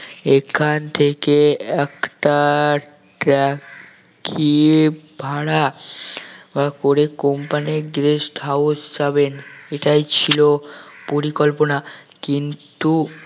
এখান থেকে একটা cab কি ভাড়া করে company র guest houses যাবেন এটাই ছিল পরিকল্পনা কিন্তু